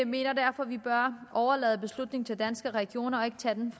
mener derfor at vi bør overlade beslutningen til danske regioner og ikke tage den